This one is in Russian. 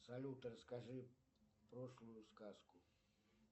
салют расскажи прошлую сказку